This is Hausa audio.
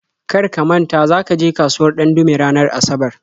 Kar ka manta za ka je kasuwar Ɗandume ranar Asabar!